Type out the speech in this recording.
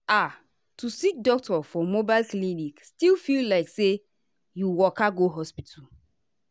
ah to see doctor for mobile clinic still feel like say you waka go hospital.